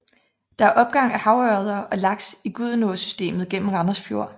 Der er opgang af havørreder og laks i Gudenåsystemet gennem Randers Fjord